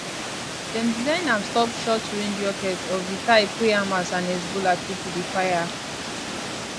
dem design am stop shortrange rockets of di type wey hamas and hezbollah pipo dey fire